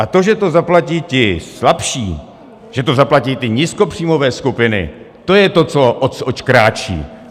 A to, že to zaplatí ti slabší, že to zaplatí ty nízkopříjmové skupiny, to je to, oč kráčí.